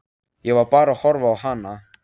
Ég var bara að horfa á hana.